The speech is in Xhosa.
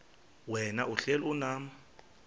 wena uhlel unam